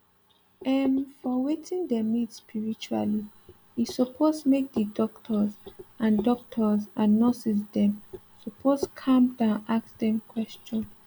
ermm for wetin dem need spiritually e suppose make d doctors and doctors and nurses dem suppose calm down ask dem question